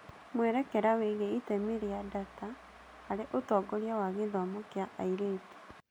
Mwerekera wĩgiĩ itemi rĩa data harĩ ũtongoria wa gĩthomo kĩa airĩtu